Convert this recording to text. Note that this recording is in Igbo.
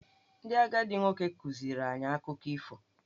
Ndị agadi nwoke kụziiri anyị akụkọ ifo.